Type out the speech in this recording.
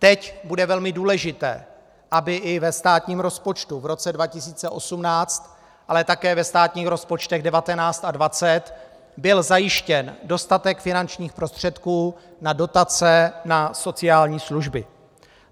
Teď bude velmi důležité, aby i ve státním rozpočtu v roce 2018, ale také ve státních rozpočtech 2019 a 2020 byl zajištěn dostatek finančních prostředků na dotace na sociální služby.